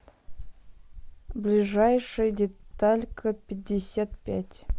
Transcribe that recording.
ближайший деталька пятьдесят пять